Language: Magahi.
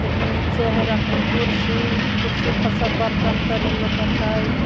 नीचे है रखल कुर्सी कुर्सी पर सब बर्तन तरी लौकत है।